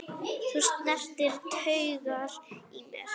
Þú snertir taugar í mér.